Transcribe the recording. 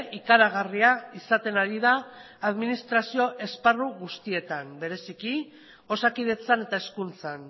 ikaragarria izaten ari da administrazio esparru guztietan bereziki osakidetzan eta hezkuntzan